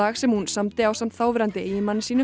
sem hún samdi ásamt þáverandi eiginmanni sínum